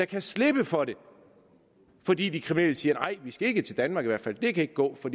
kan slippe for det fordi de kriminelle siger nej vi skal ikke til danmark det kan ikke gå for